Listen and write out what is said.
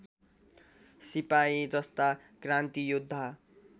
सिपाही जस्ता क्रान्तियोद्धा